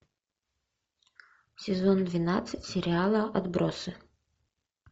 сезон двенадцать сериала отбросы